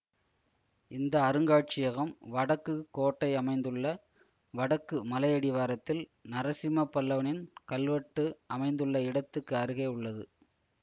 இந்த அருங்காட்சியகம் வடக்குக் கோட்டை அமைந்துள்ள வடக்கு மலையடிவாரத்தில் நரசிம்ம பல்லவனின் கல்வெட்டு அமைந்துள்ள இடத்துக்கு அருகே உள்ளது